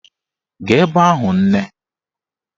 Gaa ebe ahụ nne!